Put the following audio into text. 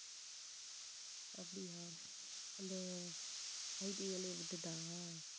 அப்படியா அந்த IT வேலையை விட்டுட்டா